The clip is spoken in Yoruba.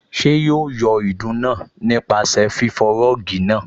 Ṣé yóò yọ ìdun náà nípasẹ̀ fífọ rọ́ọ̀gì náà?